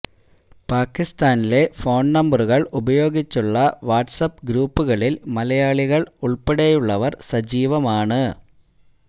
പാക്കിസ്ഥാനിലെ phone നമ്പരുകൾ ഉപയോഗിച്ചുള്ള WhatsApp ഗ്രൂപ്പുകളിൽ മലയാളികൾ ഉൾപ്പെടെയുളളവർ സജീവമാണ്